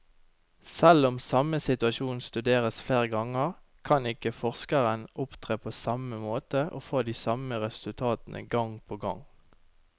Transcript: Selv om samme situasjon studeres flere ganger, kan ikke forskeren opptre på samme måte og få de samme resultatene gang på gang.